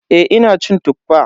Eh ina cin Tuffa.